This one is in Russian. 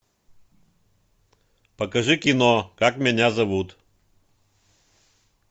покажи кино как меня зовут